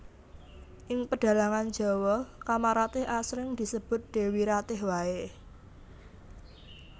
Ing pedhalangan Jawa Kamaratih asring disebut Dewi Ratih waé